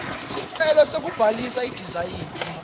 sicelo sekubhalisa idizayini